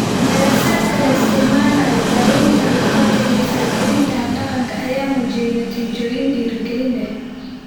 Daraasaadka la isticmaalayo daawaynta luqadda iyo faragelinta habdhaqanka ayaa muujiyay natiijooyin dhiirigelin leh.